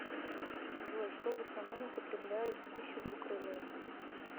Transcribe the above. джой что в основном употребляют в пищу двукрылые